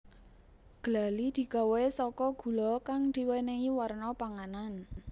Glali digawé saka gula kang diwenehi warna panganan